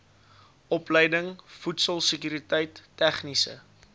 opleiding voedselsekuriteit tegniese